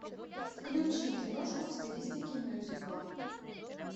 включи киношку в стилистике мюзикла